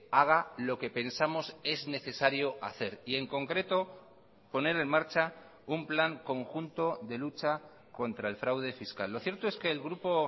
haga lo que pensamos es necesario hacer y en concreto poner en marcha un plan conjunto de lucha contra el fraude fiscal lo cierto es que el grupo